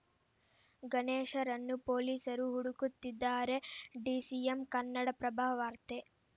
ಗಣೇಶ್‌ರನ್ನು ಪೊಲೀಸರು ಹುಡುಕುತ್ತಿದ್ದಾರೆ ಡಿಸಿಎಂ ಕನ್ನಡಪ್ರಭ ವಾರ್ತೆ